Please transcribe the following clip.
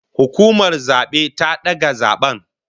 Hukumar zabe ta daga zaben